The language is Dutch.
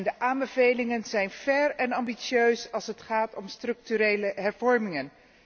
De aanbevelingen zijn verregaand en ambitieus als het gaat om structurele hervormingen.